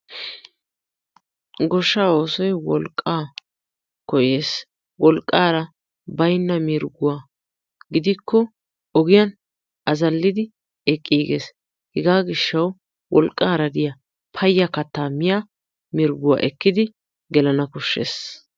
Goshshaa oosoy wolqqaa koyees. Wolqqaara baynna mirgguwa gidikko ogiyan azallidi eqqiigees. Hegaa gishshawu wolqqaara diya payya kattaa miya mirgguwa ekkidi gelana koshshees.